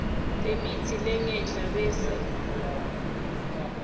lemitsi lengenhla bese